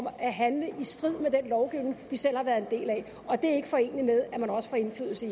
at handle i strid med den lovgivning vi selv har været en del af og det er ikke foreneligt med at man også får indflydelse